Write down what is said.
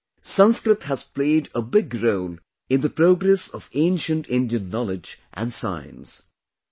Friends, Sanskrit has played a big role in the progress of ancient Indian knowledge and science